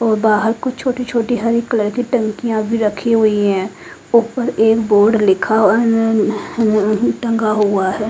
ओ बाहर कुछ छोटी छोटी हरी कलर की टंकीया भी रखी हुयी है ऊपर एक बोर्ड लिखा हुआ है अ टंगा हुआ है।